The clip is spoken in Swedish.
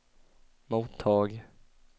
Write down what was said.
mottag